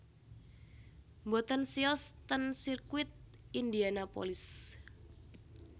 Mboten siyos ten sirkuit Indianapolis